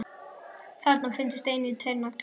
Þarna fundust einnig tveir naglar.